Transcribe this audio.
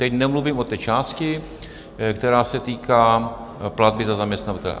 Teď nemluvím o té části, která se týká platby za zaměstnavatele.